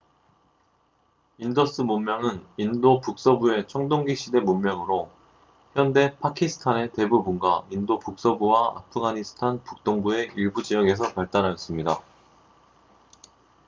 인더스 문명은 인도 북서부의 청동기 시대 문명으로 현대 파키스탄의 대부분과 인도 북서부와 아프가니스탄 북동부의 일부 지역에서 발달하였습니다